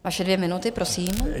Vaše dvě minuty, prosím.